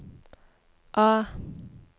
A